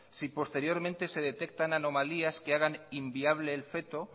si posteriormente se detectan anomalías que hagan inviable el feto